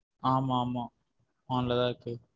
ஆமா ஆமா on ல தான் இருக்கு.